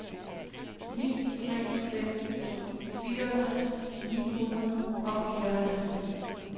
ni tre fem to fireogtres ni hundrede og fireoghalvtreds